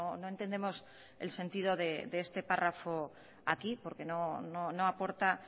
no entendemos el sentido de este párrafo aquí porque no aporta